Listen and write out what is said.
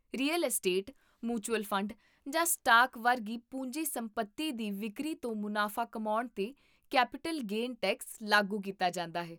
real estate, mutual fund, ਜਾਂ stock ਵਰਗੀ ਪੂੰਜੀ ਸੰਪਤੀ ਦੀ ਵਿਕਰੀ ਤੋਂ ਮੁਨਾਫਾ ਕਮਾਉਣ 'ਤੇ ਕੈਪੀਟਲ ਗੇਨ ਟੈਕਸ ਲਾਗੂ ਕੀਤਾ ਜਾਂਦਾ ਹੈ